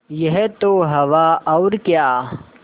यह तो हवा और क्या